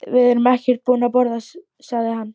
Við erum ekkert búnir að borða, sagði hann.